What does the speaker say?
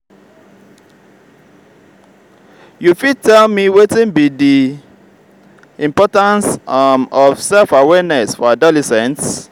you fit tell me wetin be be di importance um of self-awareness for adolescents?